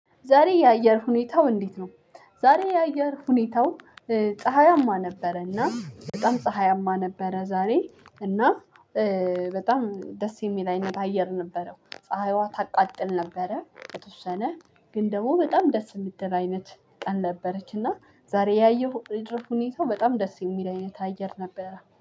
ዛሬ የአየር ሁኔታው እንዴት ነው? ዛሬ የአየር ሁኔታው። ፀሀያማ ነበረና በጣም ፀሀያማ ነበረ ዛሬ እና በጣም ደስ የሚል አይነት አየር ነበረው። ፀሀይዋ ታቃጥል ነበረ የተወሰነ ግን ደግሞ በጣም ደስ የምትል አይነት ቀን ነበረች። እና ዛሬ ያየሁ አየር ሁኔታው በጣም ደስ የሚል አይነት አየር ነበረ